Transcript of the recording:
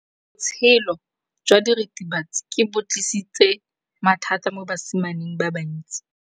Botshelo jwa diritibatsi ke bo tlisitse mathata mo basimaneng ba bantsi.